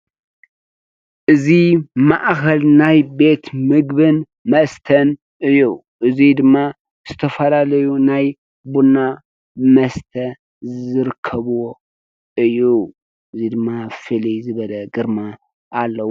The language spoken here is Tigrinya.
እዚ ማእከል ናይ ቤት ምግብን መስተን እዩ። እዚ ድማ ዝተፈላለዩ ናይ ቡና መስተ ዝርከብዎ እዩ። እዚ ድማ ፍልይ ዝበለ ግርማ አለዎ።